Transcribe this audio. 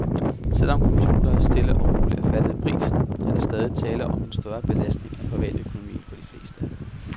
Selv om computere stille og roligt er faldet i pris, er der stadig tale om en større belastning af privatøkonomien for de fleste.